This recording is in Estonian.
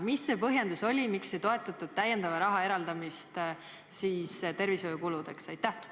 Mis see põhjendus oli, miks ei toetatud täiendava raha eraldamist tervishoiukuludeks?